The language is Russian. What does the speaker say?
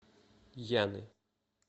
яны